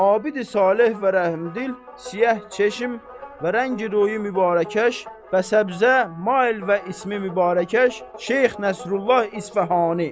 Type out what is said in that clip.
Abidi-saleh və rəhmdil, siyah çeşim və rəngi-ruyi mübarəkəş bəsəbzə mayil və ismi-mübarəkəş Şeyx Nəsrullah İsfəhani.